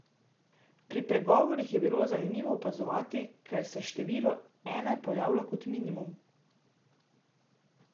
Pri pregovorih je bilo zanimivo opazovati, ker se število ena pojavlja kot minimum.